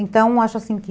Então, acho assim que...